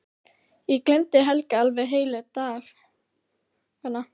Ég gleymdi Helga alveg heilu dagana.